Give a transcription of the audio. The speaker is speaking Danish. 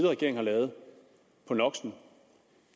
regering har lavet på no